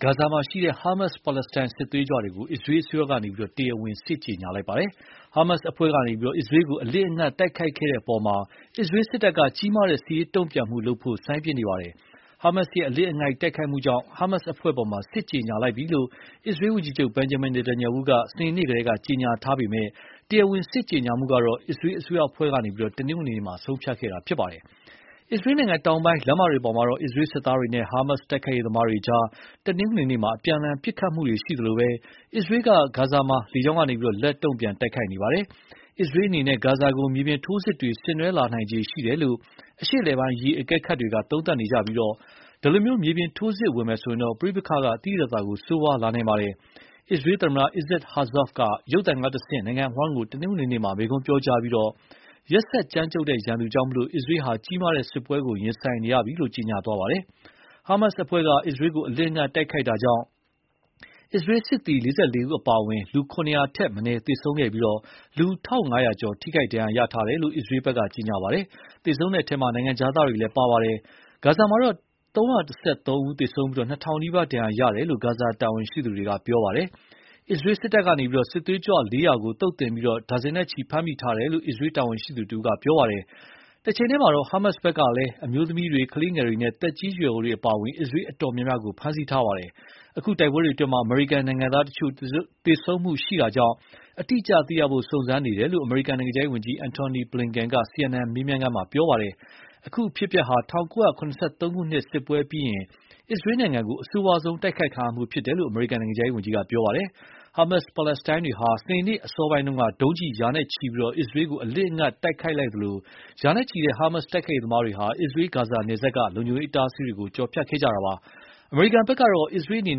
ဂါဇာမှာရှိတဲ့ ဟားမတ်စ်ပါလက်စတိုင်းစစ်သွေးကြွတွေကို အစ္စရေးအစိုးရကနေ တရားဝင်စစ်ကြေညာလိုက်ပါတယ်။ ဟားမတ်စ်အဖွဲ့ကနေ အစ္စရေးကို အလစ်အငိုက်တိုက်ခိုက်ခဲ့မှုအပေါ် အစ္စရေးစစ်တပ်က ကြီးမားတဲ့စစ်ရေးတုံ့ပြန်မှုလုပ်ဖို့ စိုင်းပြင်းနေပါပြီ။ ဟားမတ်ရဲ့ အလစ်အငိုက်တိုက်ခိုက်မှုကြောင့် ဟားမတ်စ်အဖွဲ့အပေါ် စစ်ကြေညာလိုက်ပြီလို့ အစ္စရေးဝန်ကြီးချုပ် Bejamin Netanyhahu က စနေနေ့က ကြေညာခဲ့ပေမယ့် တရားဝင်စစ်ကြေညာမှုကတော့ အစ္စရေးအစိုးရအဖွဲ့က တနင်္ဂနွေနေ့မှာ ဆုံးဖြတ်ခဲ့တာပါ။ အစ္စရေးနိုင်ငံတောင်ပိုင်း လမ်းမတွေပေါ်မှာ အစ္စရေးစစ်သားတွေနဲ့ ဟားမတ်တိုက်ခိုက်ရေးသမားတွေကြား တနင်္ဂနွေနေ့က အပြန်အလှန်ပစ်ခတ်မှုတွေရှိသလို အစ္စရေးက ဂါဇာမှာ လေကြောင်းကနေ လက်တုံ့ပြန် တိုက်ခိုက်နေပါတယ်။ အစ္စရေးအနေနဲ့ဂါဇာကို မြေပြင်ထိုးစစ်တွေ ဆင်နွှဲလာနိုင်ခြေရှိတယ်လို့ အရှေ့အလယ်ပိုင်းအရေး အကဲခတ်တွေက သုံးသပ်နေကြပြီး ဒီလို မြေပြင်ထိုးစစ်ဝင်မယ်ဆိုရင်တော့ ပဋိပက္ခက သိသိသာသာဆိုးဝါးလာနိုင်ပါတယ်။ အစ္စရေးသမ္မတ Issac herzog က ရုပ်သံကတဆင့် နိုင်ငံအဝှမ်းကို တနင်္ဂနွေနေ့က မိန့်ခွန်းပြောကြားပြီး ရက်စက်ကြမ်းကြုတ်တဲ့ ရန်သူကြောင့် အစ္စရေးဟာ ကြီးမားတဲ့စစ်ပွဲကိုရင်ဆိုင်ရပြီလို့ ကြေညာခဲ့ပါတယ်။ ဟားမတ်စ်အဖွဲ့က အစ္စရေးကို အလစ်အငိုက်တိုက်ခိုက်မှုကြောင့် စစ်သည် ၄၄ ဦးအပါအဝင် လူ ၆၀၀ ထက်မနည်းသေဆုံးခဲ့ပြီး လူ ၁,၅၀၀ ကျော် ထိခိုက်ဒဏ်ရာရထားတယ်လို့ အစ္စရေးဘက်က ကြေညာပါတယ်။ သေဆုံးတဲ့အထဲ နိုင်ငံခြားသားတွေလည်း ပါဝင်ပါတယ်။ ဂါဇာမှာတော့ ၃၁၃ ဦးသေဆုံးပြီး ၂,၀၀၀ နီးပါး ဒဏ်ရာရတယ်လို့ ဂါဇာ တာဝန်ရှိသူတွေက ပြောပါတယ်။ အစ္စရေးစစ်တပ်ကနေ စစ်သွေးကြွ ၄၀၀ ကို သုတ်သင်ပြီး ဒါဇင်နဲ့ချီ ဖမ်းမိထားတယ်လို့ အစ္စရေးတာဝန်ရှိသူတဦးက ပြောပါတယ်။ တချိန်တည်းမှာတော့ ဟားမတ်စ်ဘက်ကလည်း အမျိုးသမီးတွေ ကလေးငယ်တွေနဲ့ သက်ကြီးရွယ်အိုတွေအပါအဝင် အစ္စရေးအတော်များများကို ဖမ်းဆီးထားပါတယ်။ အခု တိုက်ပွဲတွေအတွင်း အမေရိကန်နိုင်ငံသား အသေအပျောက်ရှိမရှိဆိုတာကို စုံစမ်းနေတယ်လို့ အမေရိကန်နိုင်ငံခြားရေးဝန်ကြီး Antony Blinken က CNN မေးမြန်းခန်းမှာ ပြောပါတယ်။ အခုအဖြစ်အပျက်ဟာ ၁၉၇၃ ခုနှစ်က စစ်ပွဲပြီးရင် အစ္စရေးနိုင်ငံကို အဆိုးဝါးဆုံးတိုက်ခိုက်ခံရမှုဖြစ်တယ်လို့ အမေရိကန်နိုင်ငံခြားရေးဝန်ကြီးက ပြောပါတယ်။ ဟားမတ်စ် ပါလက်စတိုင်းတွေဟာ စနေနေ့အစောပိုင်းက ဒုံးကျည် ရာနဲ့ချီပြီး အစ္စရေးကို အလစ်အငိုက်တိုက်ခိုက်လိုက်သလို ရာနဲ့ချီတဲ့ ဟားမတ်တိုက်ခိုက်ရေးသမားတွေဟာ အစ္စရေး-ဂါဇာနယ်စပ်က လုံခြုံရေးအတားအဆီးတွေကို ကျော်ဖြတ်လာခဲ့ကြတာပါ။ အမေရိကန်တာဝန်ရှိသူတွေဘက်ကတော့ အစ္စရေးအနေ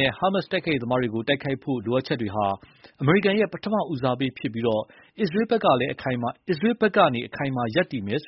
နဲ့ ဟားမတ်စ်တိုက်ခိုက်ရေးသမားတွေကို တိုက်ခိုက်ဖို့ လိုအပ်ချက်တွေဟာ အမေရိကန်ရဲ့ပထမဦးစားပေးဖြစ်ပြီး အစ္စရေးဘက်ကလည်း အခိုင်အမာရပ်တည်မယ်